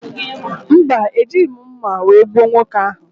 Mba, Ejighị m mma wee gbuo nwoke ahụ.